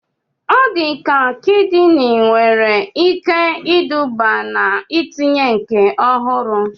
Ọdịda kidini nwere ike iduba n'itinye nke ọhụrụ